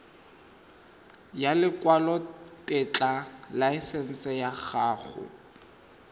ya lekwalotetla laesense ya go